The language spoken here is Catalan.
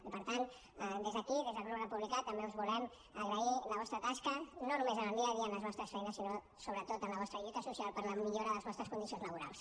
i per tant des d’aquí des del grup republicà també us volem agrair la vostra tasca no només en el dia a dia en les vostres feines sinó sobretot en la vostra lluita social per la millora de les vostres condicions laborals